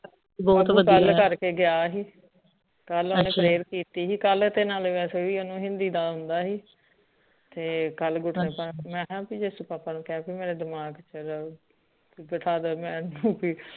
ਕਲ ਕਰਕੇ ਗਯਾ ਸੀ ਕਲ ਓਨੇ prayer ਕੀਤੀ ਸੀ ਕਲ ਤੇ ਨਾਲ ਵੈਸੇ ਭੀ ਓਨੇ ਹਿੰਦੀ ਦਾ ਆਉਂਦਾ ਸੀ ਤੇ ਕਲ ਮੈਂ ਕਿਹਾ ਜੀਸਸ ਬਾਬਾ ਨੂੰ ਕੇਹ ਮੇਰਾ ਦਿਮਾਗ ਚਲਾਓ ਕਿ ਬਿਠਾ ਦੋ ਮੈਨੂੰ ਭੀ